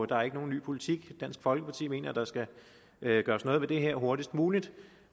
der er ikke nogen ny politik dansk folkeparti mener at der skal gøres noget ved det her hurtigst muligt